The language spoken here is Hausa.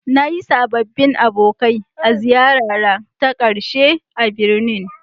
Na yi sababbin abokai a ziyarara ta ƙarshe a birnin.